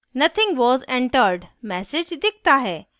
nothing was entered message दिखता है